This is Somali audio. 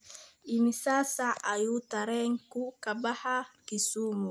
imisa saac ayuu tareenku ka baxaa kisumu?